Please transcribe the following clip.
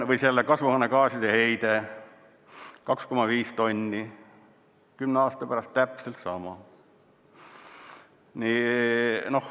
Või kasvuhoonegaaside heide 2,5 tonni, 10 aasta pärast täpselt sama.